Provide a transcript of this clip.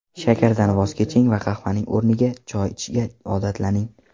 Shakardan voz keching va qahvaning o‘rniga choy ichishga odatlaning.